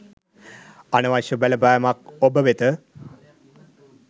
අනවශ්‍ය බලපෑමක් ඔබ වෙත